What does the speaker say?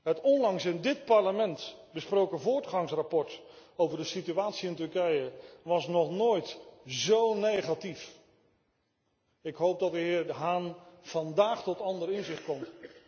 Het onlangs in dit Parlement besproken voortgangsverslag over de situatie in Turkije was nog nooit zo negatief. Ik hoop dat de heer Hahn vandaag tot andere inzichten komt.